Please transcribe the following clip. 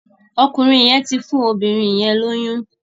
Ọkùnrin yén tí fún obìrin yén lóyún.